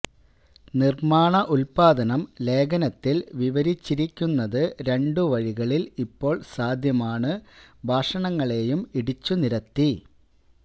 നിർമ്മാണ ഉത്പാദനം ലേഖനത്തിൽ വിവരിച്ചിരിക്കുന്നത് രണ്ടു വഴികളിൽ ഇപ്പോൾ സാധ്യമാണ് ഭാഷണങ്ങളെയും ഇടിച്ചുനിരത്തി